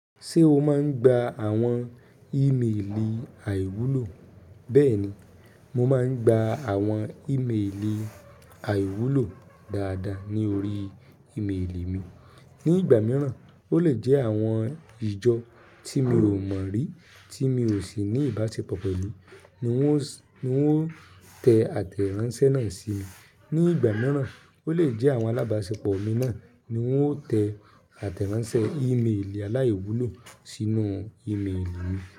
Ṣé o máa ń gba àwọn ìméèlì àìwúlò? Bẹ́ẹ̀ ni, mo máa ń gba àwọn ìméèlì àwúlò dáadáa ni orí ìméèlì mi. Ni ìgbà mìíràn, ó lè jẹ́ àwọn ìjọ tí mi ò mọ̀ rí, tí mi ò sì ní ìbáṣepọ̀ pẹ̀lú, ni wọ́n ń tẹ àtẹ̀ránsẹ́ náà sí mi. Ni ìgbà mìíràn, ó lè jẹ́ àwọn alábáṣepọ̀ mi náà ni wọ́n tẹ àtẹ̀ránsẹ́ ìméèlì aláwúlò sínú ìméèlì mi.